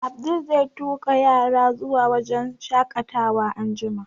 Abdul zai tuƙa yaran zuwa wurin shaƙatawa anjima